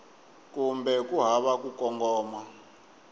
kumbe ku hava ku kongoma